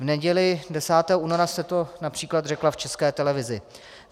V neděli 10. února jste to například řekla v České televizi.